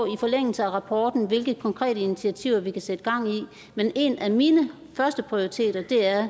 i forlængelse af rapporten hvilke konkrete initiativer vi kan sætte gang i men en af mine førsteprioriteter er